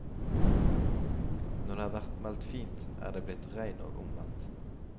Når det har vært meldt fint, er det blitt regn og omvendt.